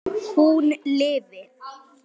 Hún lifi!